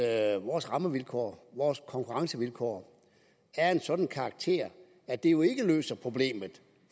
at vores rammevilkår og konkurrencevilkår er af en sådan karakter at det jo ikke løser problemet